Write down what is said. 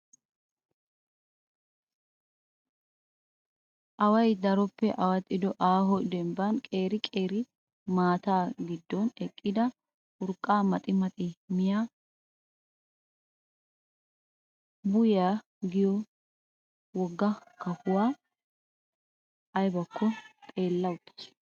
Away daroppe awaxxido aaho dembban qeeri qeeri maata gidoon eqqida urqqa maxi maxidi miyaa biyyuwaa giyo wogga kapuwaa. ayibakko xeelli uttis.